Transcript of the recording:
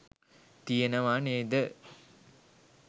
තියෙනවා නේද?